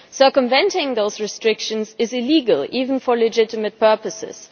Circumventing those restrictions is illegal, even for legitimate purposes.